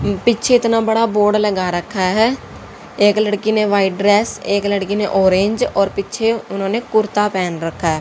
पीच्छे इतना बड़ा बोर्ड लगा रखा है एक लड़की ने व्हाइट ड्रेस एक लड़की ने ओरेंज और पीछे उन्होंने कुर्ता पहन रखा--